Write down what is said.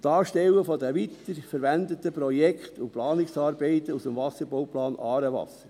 Darstellen der weiterverwendeten Projekte und Planungsarbeiten aus dem Wasserbauplan «Aarewasser»;